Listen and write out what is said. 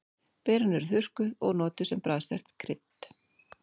Berin eru þurrkuð og notuð sem bragðsterkt krydd.